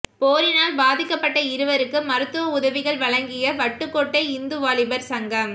போரினால் பாதிக்கப்பட்ட இருவருக்கு மருத்துவ உதவிகள் வழங்கிய வட்டுக்கோட்டை இந்து வாலிபர் சங்கம்